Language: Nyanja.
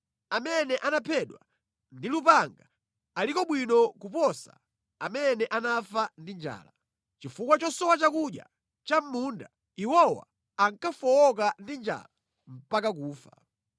Amene anaphedwa ndi lupanga aliko bwino kuposa amene anafa ndi njala; chifukwa chosowa chakudya cha mʼmunda iwowa ankafowoka ndi njala mpaka kufa.